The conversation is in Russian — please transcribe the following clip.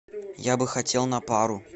я бы хотел на пару